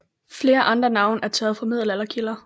Flere andre navne er taget fra middelalderkilder